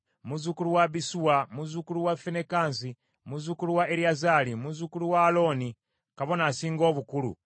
muzzukulu wa Abisuwa, muzzukulu wa Finekaasi, muzzukulu wa Eriyazaali, muzzukulu wa Alooni kabona asinga obukulu,